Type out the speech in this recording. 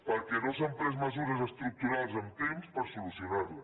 perquè no s’han pres mesures estructurals amb temps per solucionar les